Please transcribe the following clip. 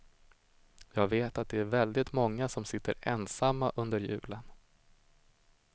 Jag vet att det är väldigt många som sitter ensamma under julen.